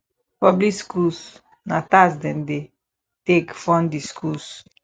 public schools na tax dem dey take fund di schools